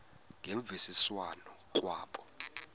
ngemvisiswano r kwabo